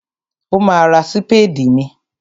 Ó ma ra sípédì míì.